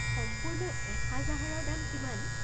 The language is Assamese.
সম্পূৰ্ণ এসাঁজ আহাৰৰ দাম কিমান?